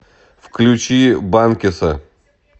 включи банкеса